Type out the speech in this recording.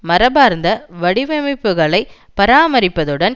மரபார்ந்த வடிவமைப்புக்களை பராமரிப்பதுடன்